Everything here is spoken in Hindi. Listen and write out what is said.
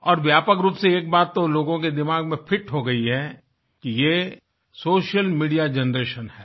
और व्यापक रूप से एक बात तो लोगों के दिमाग में फिट हो गई है कि ये सोशल मीडिया जनरेशन है